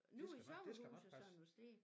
Nogle i sommerhuset sådan at stå